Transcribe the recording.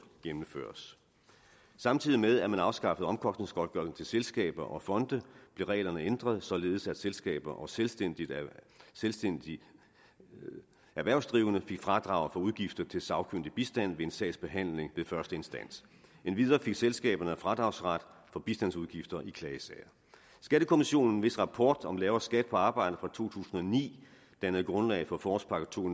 gennemføres samtidig med at man afskaffede omkostningsgodtgørelsen til selskaber og fonde blev reglerne ændret således at selskaber og selvstændigt selvstændigt erhvervsdrivende fik fradrag for udgifter til sagkyndig bistand ved en sagsbehandling ved første instans endvidere fik selskaberne fradragsret for bistandsudgifter i klagesager skattekommissionen hvis rapport om lavere skat på arbejde fra to tusind og ni dannede grundlag for forårspakke 20